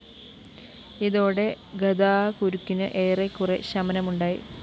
ഇതോടെ ഗതാക്കുരുക്കിന് ഏറെക്കുറെ ശമനമുണ്ടായി